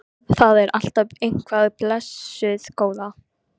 Það er alltaf eitthvað, blessuð góða.